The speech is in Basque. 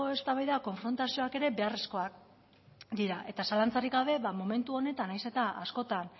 eztabaida konfrontazioak ere beharrezkoak dira eta zalantzarik gabe momentu honetan nahiz eta askotan